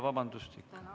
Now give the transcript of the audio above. Vabandust!